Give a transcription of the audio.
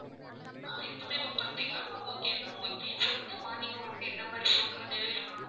ஆஹ் இப்பமே book பண்றீங்களா ma'am ah okay ma'am okay சொல்லுங்க morning உங்களுக்கு எந்த மாதிரி food delivery பண்ணனும்.